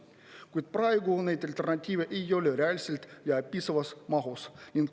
Kuid praegu neid alternatiive ei ole reaalselt ja piisavas mahus.